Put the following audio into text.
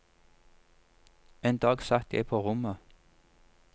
En dag satt jeg på rommet.